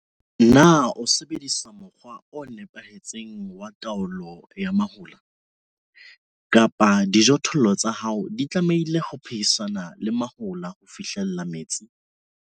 Na o sebedisa mokgwa o nepahetseng wa taolo ya mahola kapa dijothollo tsa hao di tlamehile ho phehisana le mahola ho fihlella metsi?